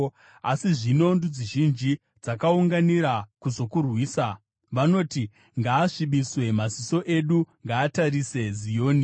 Asi zvino ndudzi zhinji dzakaunganira kuzokurwisa. Vanoti, “Ngaasvibiswe, maziso edu ngaatarise Zioni!”